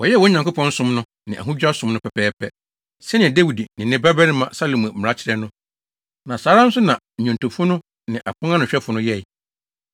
Wɔyɛɛ wɔn Nyankopɔn som no ne ahodwira som no pɛpɛɛpɛ, sɛnea Dawid ne ne babarima Salomo mmara kyerɛ no, na saa ara nso na nnwontofo no ne aponanohwɛfo no yɛe.